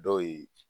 Dɔw ye